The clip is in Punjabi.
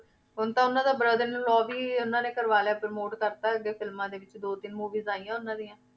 ਹੁਣ ਤਾਂ ਉਹਨਾਂ ਦਾ brother-in-law ਵੀ ਉਹਨਾਂ ਨੇ ਕਰਵਾ ਲਿਆ promote ਕਰ ਦਿੱਤਾ ਅੱਗੇ ਫਿਲਮਾਂ ਦੇ ਵਿੱਚ ਦੋ ਤਿੰਨ movies ਆਈਆਂ ਉਹਨਾਂ ਦੀਆਂ।